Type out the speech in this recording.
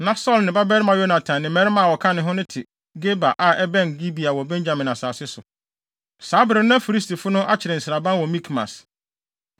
Na Saulo ne ne babarima Yonatan ne mmarima a wɔka ne ho no te Geba a ɛbɛn Gibea wɔ Benyamin asase so. Saa bere no na Filistifo no akyere nsraban wɔ Mikmas.